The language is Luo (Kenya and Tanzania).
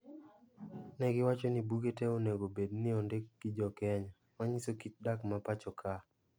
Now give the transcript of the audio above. Negiwacho ni buge tee onego obed ni ondik gi joKenya. Manyiso kit dak ma pacho ka.